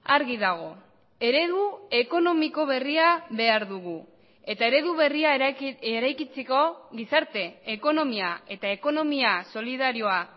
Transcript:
argi dago eredu ekonomiko berria behar dugu eta eredu berria eraikitzeko gizarte ekonomia eta ekonomia solidarioa